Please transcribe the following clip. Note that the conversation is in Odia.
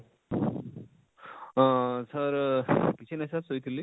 ଆଁ sir କିଛି ନାହିଁ sir ଶୋଇଥିଲି